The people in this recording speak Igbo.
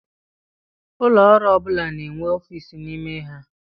Ụlọọrụ ọ bụla na-enwe ọfiisi n'ime ha.